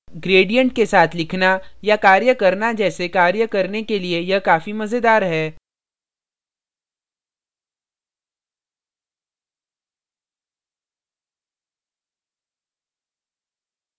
gradients के साथ लिखना या कार्य करना जैसे कार्य करने के लिए यह काफी मजेदार है